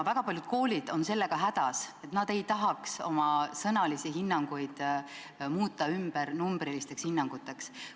Väga paljud koolid on sellega hädas, nad ei tahaks oma sõnalisi hinnanguid muuta ümber numbrilisteks hinnanguteks.